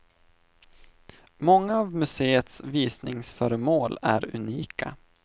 Många av museets visningsföremål är unika.